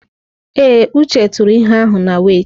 Ee, Uche tụrụ ihe ahụ na wẹ́itị.